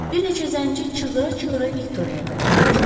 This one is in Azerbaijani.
Bir neçə zənci çığıra-çığıra Viktoriyaya tərəf qaçırdı.